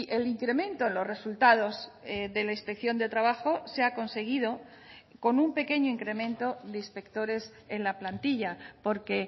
el incremento en los resultados de la inspección de trabajo se ha conseguido con un pequeño incremento de inspectores en la plantilla porque